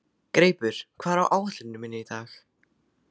Greipur, hvað er á áætluninni minni í dag?